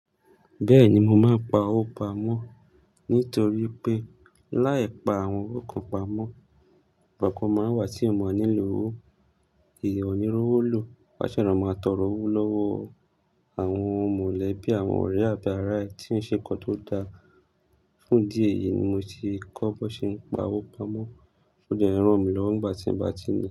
Bẹ́ẹ̀ni mo máa ń pa owó pamọ́ nítorí pé láì pa àwọn owó kan pamọ́, ìgbà kan máa wà tí a máa nílò owó, èèyàn ò ní owó lò. A ṣẹ̀ lọ máa tọrọ owó lọ́wọ́ àwọn mọ̀lẹ́bí, àwọn ọ̀rẹ́ àbí ará ẹ tí ń ṣe nǹkan tó dáa. Fún idí èyí ni mo ti kọ́ bọn ṣe ń pa owó pamọ́ o dẹ̀ n rọ̀ mi lọwọ nígbà tí n bá ti ni.